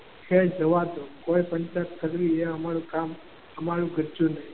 ખેર જવા દો પંચાયત કરવી એ અમારું કામ અમારું ગજું નહીં.